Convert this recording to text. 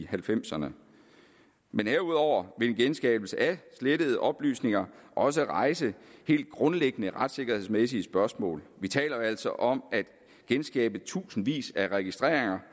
halvfemserne men herudover vil en genskabelse af slettede oplysninger også rejse helt grundlæggende retssikkerhedsmæssige spørgsmål vi taler jo altså om at genskabe tusindvis af registreringer